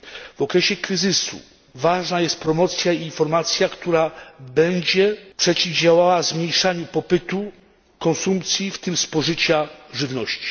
W okresie kryzysu ważna jest promocja i informacja, która będzie przeciwdziałała zmniejszaniu popytu, konsumpcji, w tym spożycia żywności.